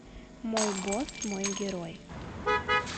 мой босс мой герой